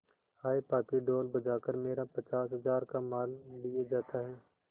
हाय पापी ढोल बजा कर मेरा पचास हजार का माल लिए जाता है